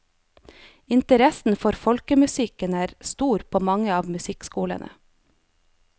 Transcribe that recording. Interessen for folkemusikken er stor på mange av musikkskolene.